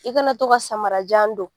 I kana to ka samarajan don.